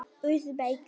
Úsbekistan